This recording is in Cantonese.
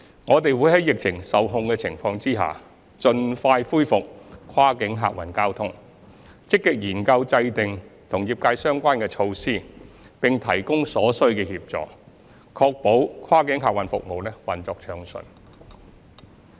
我們會在疫情受控的情況下，盡快恢復跨境客運交通，積極研究制訂與業界相關的措施並提供所需協助，確保跨境客運服務運作暢順。